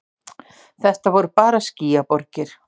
Þetta voru bara skýjaborgir.